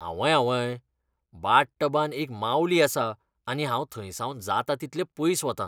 आवंय आवंय, बाथटबांत एक मावली आसा आनी हांव थंयसावन जाता तितलें पयस वतां.